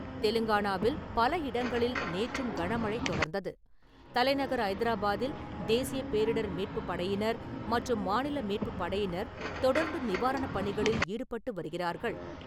தெலுங்கானாவில் பல இடங்களில் நேற்றும் கனமழை தொடர்ந்தது. தலைநகர் ஐதராபாத்தில் தேசிய பேரிடர் மீட்பு படையினர் மற்றும் மாநில மீட்புப் படையினர் தொடர்ந்து நிவாரண பணிகளில் ஈடுபட்டு வருகிறார்கள்.